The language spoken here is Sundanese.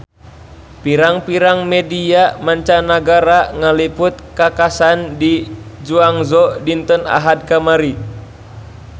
Pirang-pirang media mancanagara ngaliput kakhasan di Guangzhou dinten Ahad kamari